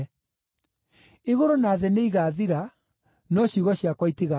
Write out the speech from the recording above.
Igũrũ na thĩ nĩigathira, no ciugo ciakwa itigathira.